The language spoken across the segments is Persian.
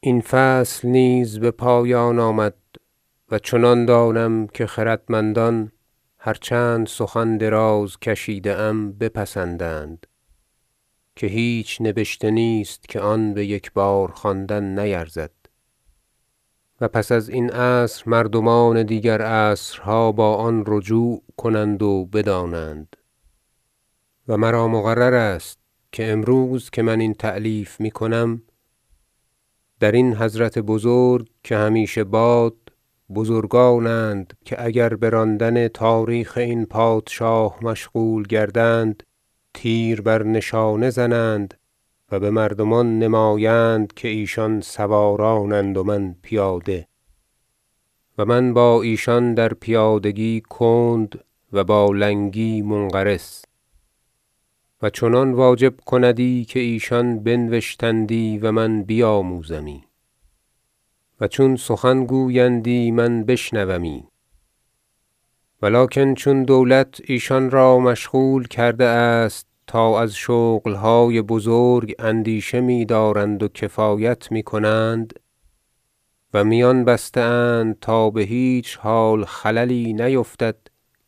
این فصل نیز به پایان آمد و چنان دانم که خردمندان- هر چند سخن دراز کشیده ام- بپسندند که هیچ نبشته نیست که آن به یکبار خواندن نیرزد و پس ازین عصر مردمان دیگر عصرها با آن رجوع کنند و بدانند و مرا مقررست که امروز که من این تألیف می کنم درین حضرت بزرگ - که همیشه باد- بزرگان اند که اگر به راندن تاریخ این پادشاه مشغول گردند تیر بر نشانه زنند و به مردمان نمایند که ایشان سواران اند و من پیاده و من با ایشان در پیادگی کند و با لنگی منقرس و چنان واجب کندی که ایشان بنوشتندی و من بیاموزمی و چون سخن گویندی بشنومی و لکن چون دولت ایشان را مشغول کرده است تا از شغل های بزرگ اندیشه می دارند و کفایت می کنند و میان بسته اند تا به هیچ حال خللی نیفتد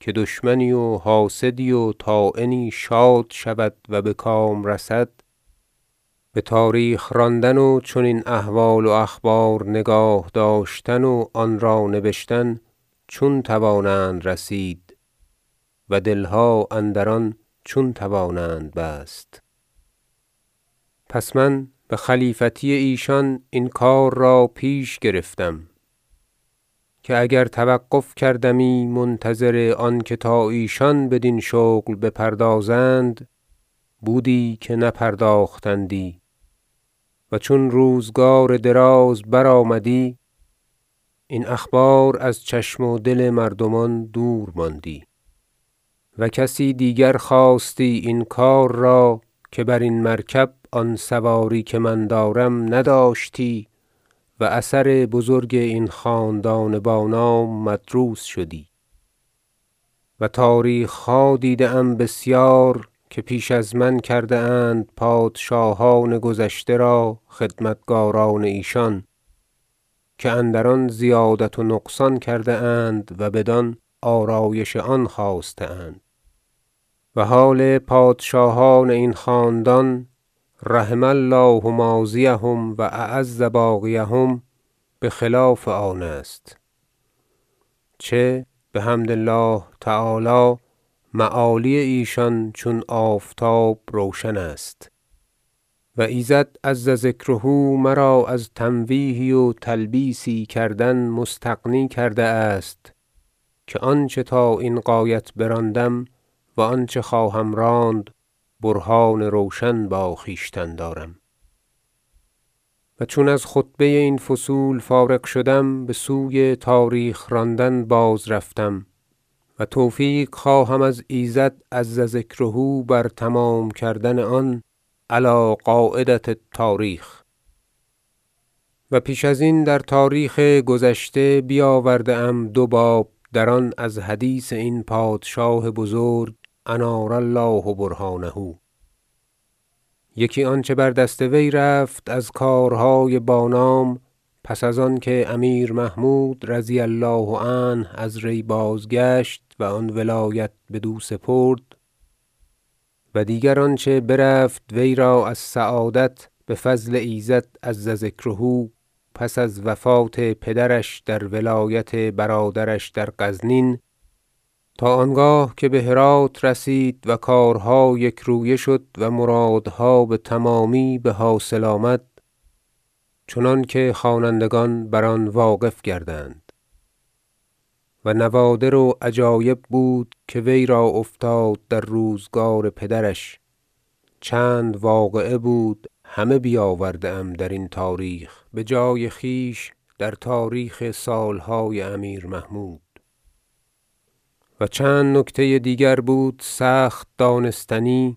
که دشمنی و حاسدی و طاعنی شاد شود و به کام رسد به تاریخ راندن و چنین احوال و اخبار نگاه داشتن و آن را نبشتن چون توانند رسید و دل ها اندران چون توانند بست پس من به خلیفتی ایشان این کار را پیش گرفتم که اگر توقف کردمی منتظر آنکه تا ایشان بدین شغل بپردازند بودی که نپرداختندی و چون روزگار دراز بر آمدی این اخبار از چشم و دل مردمان دور ماندی و کسی دیگر خاستی این کار را که برین مرکب آن سواری که من دارم نداشتی و اثر بزرگ این خاندان بانام مدروس شدی و تاریخ ها دیده ام بسیار که پیش از من کرده اند پادشاهان گذشته را خدمتکار ان ایشان که اندران زیادت و نقصان کرده اند و بدان آرایش آن خواسته اند و حال پادشاهان این خاندان -رحم الله ماضیهم و أعز باقیهم - به خلاف آن است چه بحمد الله تعالی معالی ایشان چون آفتاب روشن است و ایزد -عز ذکره- مرا از تمویهی و تلبیسی کردن مستغنی کرده است که آنچه تا این غایت براندم و آنچه خواهم راند برهان روشن با خویشتن دارم و چون از خطبه این فصول فارغ شدم به سوی تاریخ راندن بازرفتم و توفیق خواهم از ایزد -عز ذکره- بر تمام کردن آن علی قاعدة التاریخ و پیش ازین در تاریخ گذشته بیاورده ام دو باب دران از حدیث این پادشاه بزرگ -أنار الله برهانه - یکی آنچه بر دست وی رفت از کارهای بانام پس از آن که امیر محمود -رضی الله عنه- از ری بازگشت و آن ولایت بدو سپرد و دیگر آنچه برفت وی را از سعادت به فضل ایزد -عز ذکره- پس از وفات پدرش در ولایت برادرش در غزنین تا آنگاه که به هرات رسید و کارها یک رویه شد و مراد ها به تمامی به حاصل آمد چنانکه خوانندگان بر آن واقف گردند و نوادر و عجایب بود که وی را افتاد در روزگار پدرش چند واقعه بود همه بیاورده ام درین تاریخ به جای خویش در تاریخ سال های امیر محمود و چند نکته دیگر بود سخت دانستنی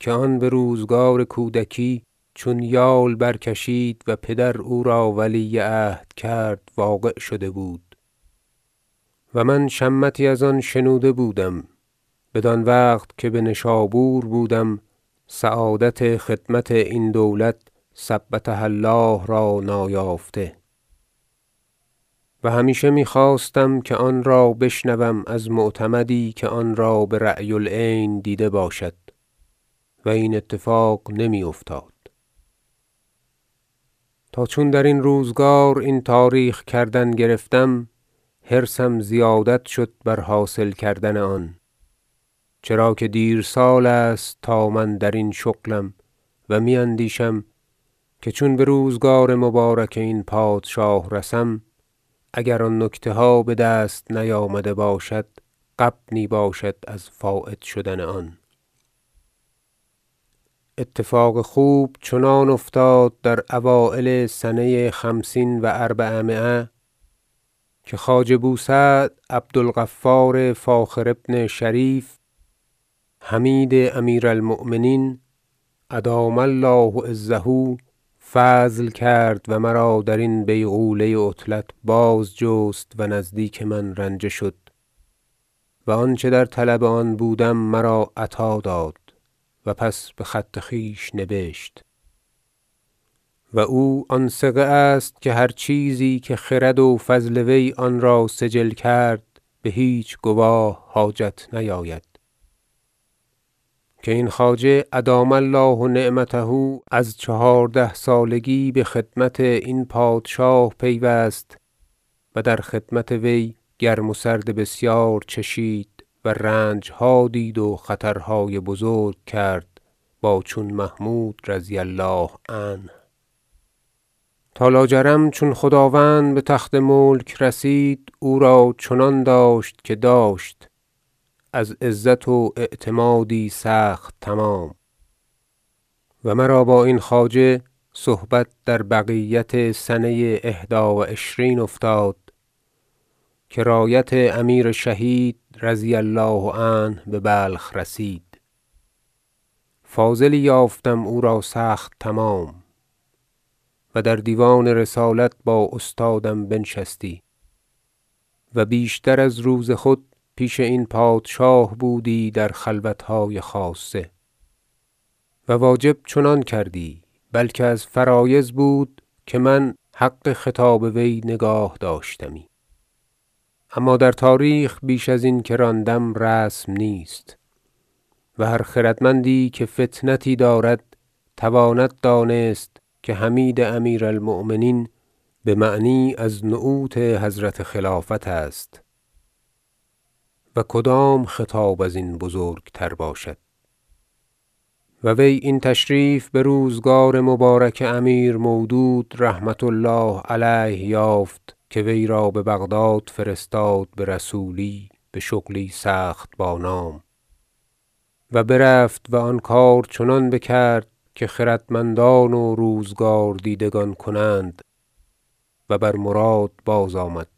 که آن به روزگار کودکی چون یال برکشید و پدر او را ولی عهد کرد واقع شده بود و من شمتی ازان شنوده بودم بدان وقت که به نشابور بودم سعادت خدمت این دولت -ثبتها الله - را نایافته و همیشه می خواستم که آن را بشنوم از معتمدی که آن را برأی العین دیده باشد و این اتفاق نمی افتاد تا چون درین روزگار این تاریخ کردن گرفتم حرصم زیادت شد بر حاصل کردن آن چرا که دیرسال است تا من درین شغلم و می اندیشم که چون به روزگار مبارک این پادشاه رسم اگر نکتها بدست نیامده باشد غبنی باشد از فایت شدن آن اتفاق خوب چنان افتاد در اوایل سنه خمسین و أربعمایه که خواجه بوسعد عبدالغفار فاخر بن شریف حمید امیر المؤمنین -أدام الله عزه- فضل کرد و مرا درین بیغوله عطلت بازجست و نزدیک من رنجه شد و آنچه در طلب آن بودم مرا عطا داد و پس به خط خویش نبشت و او آن ثقه است که هر چیزی که خرد و فضل وی آن را سجل کرد به هیچ گواه حاجت نیاید که این خواجه -أدام الله نعمته - از چهارده سالگی به خدمت این پادشاه پیوست و در خدمت وی گرم و سرد بسیار چشید و رنج ها دید و خطر های بزرگ کرد با چون محمود -رضی الله عنه- تا لاجرم چون خداوند به تخت ملک رسید او را چنان داشت که داشت از عزت و اعتمادی سخت تمام و مرا با این خواجه صحبت در بقیت سنه احدی و عشرین افتاد که رایت امیر شهید -رضی الله عنه- به بلخ رسید فاضلی یافتم او را سخت تمام و در دیوان رسالت با استادم بنشستی و بیشتر از روز خود پیش این پادشاه بودی در خلوت های خاصه و واجب چنان کردی بلکه از فرایض بود که من حق خطاب وی نگاه داشتمی اما در تاریخ بیش ازین که راندم رسم نیست و هر خردمندی که فطنتی دارد تواند دانست که حمید امیر المؤمنین به معنی از نعوت حضرت خلافت است و کدام خطاب ازین بزرگ تر باشد و وی این تشریف به روزگار مبارک امیر مودود -رحمة الله علیه- یافت که وی را به بغداد فرستاد به رسولی به شغلی سخت بانام و برفت و آن کار چنان بکرد که خردمندان و روزگاردیدگان کنند و بر مراد باز آمد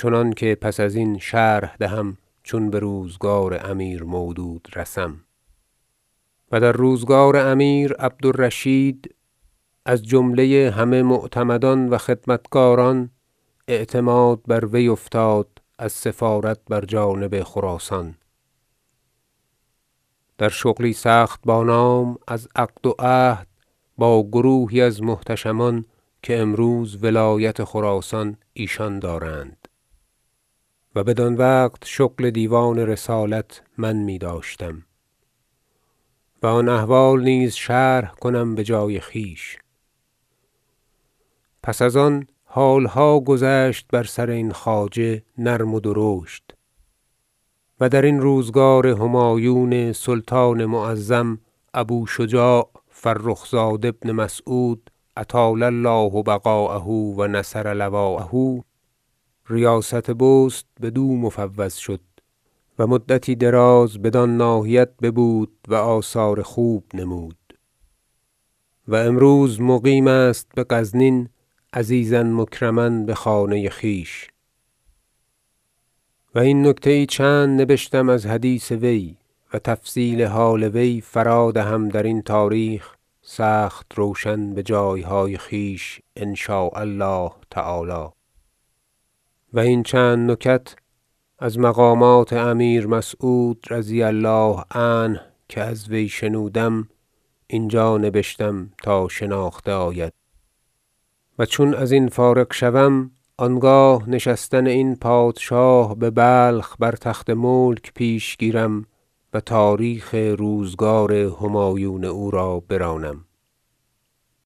چنانکه پس ازین شرح دهم چون به روزگار امیر مودود رسم و در روزگار امیر عبدالرشید از جمله همه معتمدان و خدمتکاران اعتماد بر وی افتاد از سفارت بر جانب خراسان در شغلی سخت بانام از عقد و عهد با گروهی از محتشمان که امروز ولایت خراسان ایشان دارند و بدان وقت شغل دیوان رسالت من می داشتم و آن احوال نیز شرح کنم به جای خویش پس از آن حال ها گذشت بر سر این خواجه نرم و درشت و درین روزگار همایون سلطان معظم ابوشجاع فرخزاد بن مسعود -أطال الله بقاءه و نصر لواءه - ریاست بست بدو مفوض شد و مدتی دراز بدان ناحیت ببود و آثار خوب نمود و امروز مقیم است به غزنین عزیزا مکرما به خانه خویش و این نکته چند نبشتم از حدیث وی و تفصیل حال وی فرا دهم درین تاریخ سخت روشن به جایهای خویش إن شاء الله تعالی و این چند نکت از مقامات امیر مسعود -رضی الله عنه- که از وی شنودم اینجا نبشتم تا شناخته آید و چون ازین فارغ شوم آنگاه نشستن این پادشاه به بلخ بر تخت ملک پیش گیرم و تاریخ روزگار همایون او را برانم